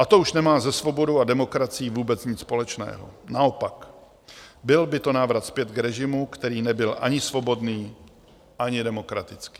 A to už nemá se svobodou a demokracií vůbec nic společného, naopak, byl by to návrat zpět k režimu, který nebyl ani svobodný, ani demokratický.